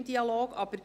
Wie dem auch sei: